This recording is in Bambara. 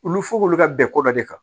Olu fɔ k'olu ka bɛn ko dɔ de kan